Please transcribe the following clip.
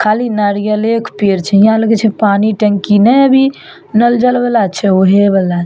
खाली नारियले के पेड़ छे यहाँ लगे छे पानी टंकी ने अभी नल जल वाला छे वही वाला छे।